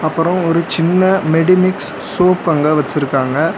அப்பரோ ஒரு சின்ன மெடிமிக்ஸ் சோப் அங்க வச்சிருக்காங்க.